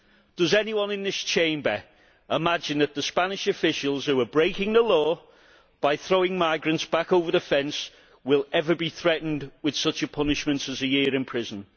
Does anyone in this Chamber imagine that the Spanish officials who are breaking the law by throwing migrants back over the fence will ever be threatened with such a punishment as a year in prison?